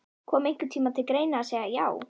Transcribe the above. Kom einhvern tímann til greina að segja já?